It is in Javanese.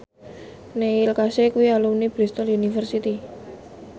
Neil Casey kuwi alumni Bristol university